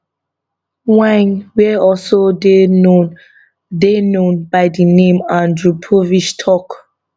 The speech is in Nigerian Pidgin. wynne wey also dey known dey known by di name andrew povich tok